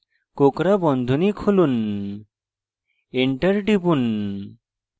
space কোঁকড়া বন্ধনী খুলুন enter টিপুন